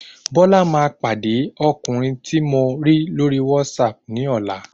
Bọla ma pàdé ọkùnrin tí mọ̀ lórí WhatsApp ní ọ̀la